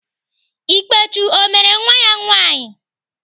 Ikpechu ọ mere nwa ya nwaanyị?